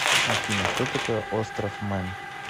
афина что такое остров мэн